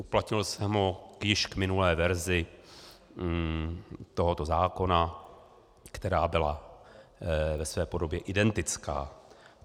Uplatnil jsem ho již k minulé verzi tohoto zákona, která byla ve své podobě identická.